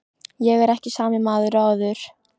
Ég er ekki sami maður og áður.